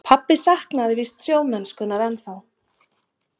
Pabbi saknaði víst sjómennskunnar ennþá.